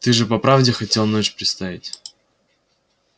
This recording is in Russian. ты же по правде хотел ночь представить